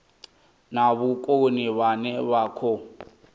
na vhukoni vhane vha khou